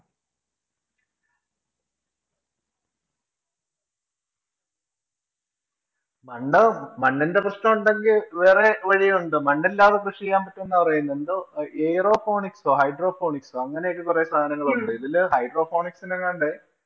മണ്ണ് മണ്ണിന്‍റെ പ്രശ്നം ഒണ്ടെങ്കി വേറെ വഴിയുണ്ട്. മണ്ണില്ലാതെ കൃഷി ചെയ്യാം പറ്റും എന്നാ പറയുന്നേ. എന്തോ Airoponics ഓ, hydroponics ഓ അങ്ങനെയൊക്കെ കുറെ സാധനങ്ങള്‍ ഒണ്ട്. ഇതില് hydroponics ന് എങ്ങാണ്ട്